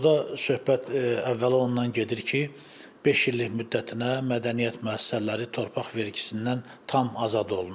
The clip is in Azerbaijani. Burda söhbət əvvəla ondan gedir ki, beş illik müddətinə mədəniyyət müəssisələri torpaq vergisindən tam azad olunurlar.